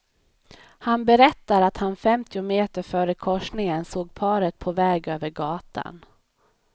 Han berättar att han femtio meter före korsningen såg paret på väg över gatan.